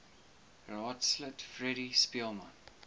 raadslid freddie speelman